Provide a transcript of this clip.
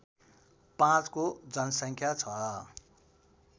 ५ को जनसङ्ख्या छ